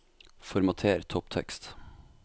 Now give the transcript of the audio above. Formater topptekst